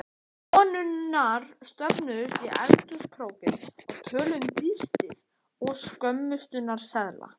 Konurnar söfnuðust í eldhúskrókinn og töluðu um dýrtíð og skömmtunarseðla.